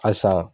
Asan